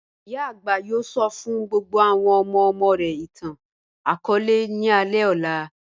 Iyà agbà yóò sọ́ fún gbogbo àwọn ọmọ-ọmọ rẹ̀ ìtàn-akọọlẹ̀ ní alẹ ọlá.